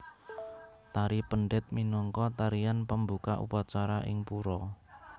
Tari Pendet minangka tarian pambuka upacara ing pura